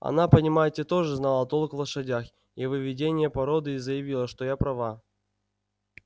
она понимаете тоже знала толк в лошадях и в выведении породы и заявила что я права